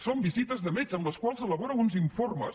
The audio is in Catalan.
són visites de metge amb les quals elabora uns informes